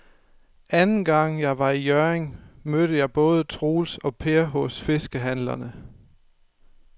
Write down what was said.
Anden gang jeg var i Hjørring, mødte jeg både Troels og Per hos fiskehandlerne.